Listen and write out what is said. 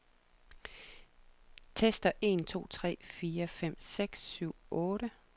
Tester en to tre fire fem seks syv otte.